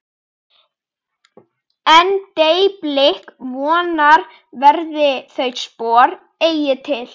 En- deyi blik vonarinnar verða þau spor eigi til.